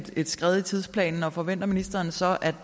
et skred i tidsplanen og forventer ministeren så at